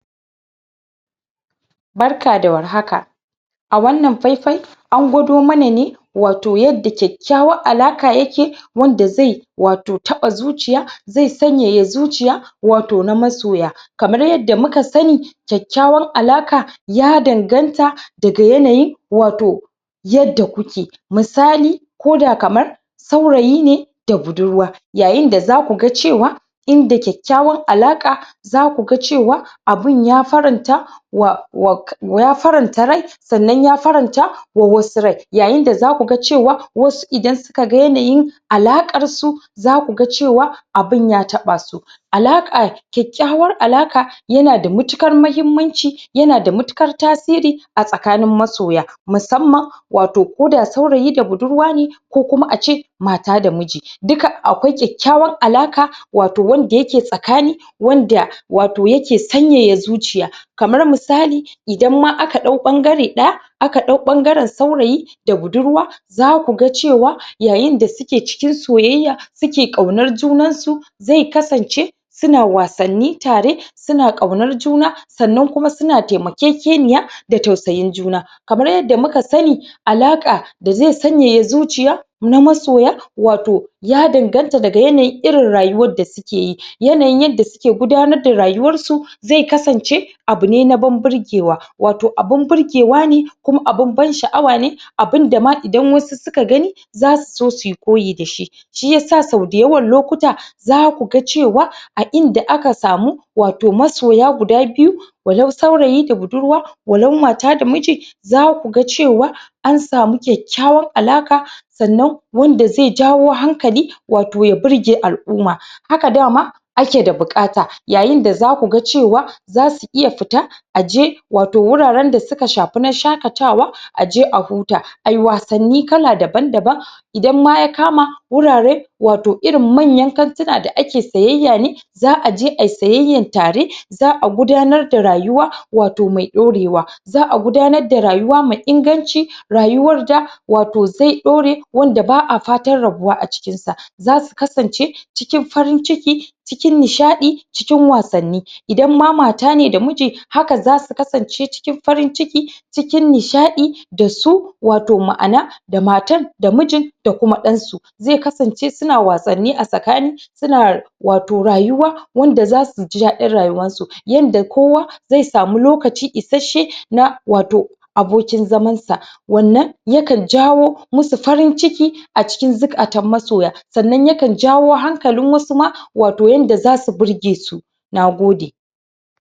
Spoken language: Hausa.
Barka da warhaka a wannan faifai an gwado mana ne wato yadda kyaky kyawan alaƙa yake wanda ze wato taɓa zuciya ze sanyaya zuciya wato na masoya kamar yadda muka sani kyakykyawan alaƙa ya dan ganta daga yanayi wato yadda kuke misali koda kaman saurayi ne da budurwa yayin da za kuga cewa inda kyakykyawan alaƙa zakuga cewa abun yafaranta wa, wa yafaranta ryai sannan yafaranta wa wasu ryai yayin da zakuga cewa wasu idan sukaga yanayi alaƙar su zakuga cewa abun ya taɓasu alaƙa kyakykyawan alaƙa yanada matuƙar mahimmanci yanada matuƙar tasiri a tsakanin masoya musamman wato koda saurayi da budurwa ne ko kuma ace mata da muji duka akwai kyakykyawan alaƙa wato wanda yake tsakani wanda wato yake sanyaya zuciya kamar misali idan ma aka ɗau ɓan gare ɗaya aka ɗau ɓangaran saurayi da budurwa zakuga cewa yayi da suke cikin soyayya suke ƙaunar junansu ze kasance suna wasanni tare suna ƙaunar juna sannan kuma suna tema keke niya da tausayin juna kamar yadda muka sani alaƙa da ze sanyaya zuciya na masoya wato ya danganta daga yanayi irin rayuwan da sukeyi yanayin yadda su ke gudanar da rayuwan su ze kasance abune na banburgewa wato abun burgewa ne kuma abun ban shi awa ne abundama idan wasu suka gani zasu so suyi koyi dashi shi yasa sau dayawan lokuta zakuga cewa a inda aka samu wato masoya guda biyu walau saurayi da budurwa walau mata da muci zakuga cewa ansamu kyakykyawan alaƙa sannan wanda ze jawo hankali wato ya birge al'umma haka dama akeda buƙata yayin da za kuga cewa zasu iya fita aje wato wuraran da su shafi wajan shaƙatawa aje ahuta ai wasanni kala daban daban idan ma yakama wurare wato irin manyan kan tika da ake siyayya ne za aje ai siyayyan tare za gudanar da rayuwa wato mai ɗaurewa za a gudanar da rayuwa mai inganci rayuwar da wato ze ɗaure wanda ba a fatan rabuwa acikin sa zasu kasance cikin farin ciki cikin nishaɗi cikin wasanni idan ma matane da muji haka zasu kasance cikin farin ciki cikin nishaɗi dasu wato ma ana da matan da mijin da kuma ɗansu ze kasance suna wasanni a tsakani suna wato rayuwa wanda za suji daɗin rayuwan su yanda kowa ze samu lokaci ish she na wato abokin zaman sa wannan yakan jawo musu farin ciki acikin zukatan masoya sannan yaka jawo hankalin wasu ma wato yanda zasu birgesu nagode